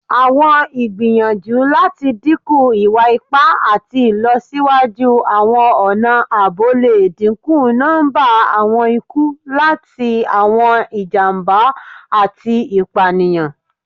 Awọn igbiyanju lati dinku iwa-ipa ati ilọsiwaju awọn ọna aabo le dinku nọmba awọn iku lati awọn ijamba ati ipaniyan